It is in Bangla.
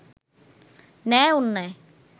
ন্যায় অন্যায়